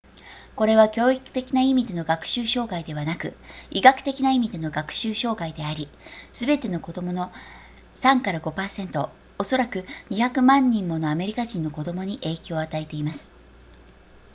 これは教育的な意味での学習障害ではなく医学的な意味での学習障害でありすべての子供の 3～5% おそらく200万人ものアメリカ人の子供に影響を与えています